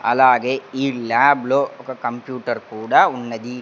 అలాగే ఈ ల్యాబ్ లో ఒక కంప్యూటర్ కూడా ఉన్నది.